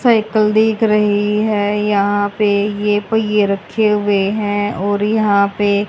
cycle दिख रही है यहां पे ये पहिये रखे हुए हैं और यहां पे--